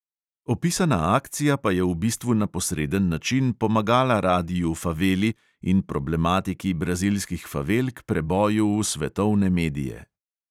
Opisana akcija pa je v bistvu na posreden način pomagala radiu faveli in problematiki brazilskih favel k preboju v svetovne medije.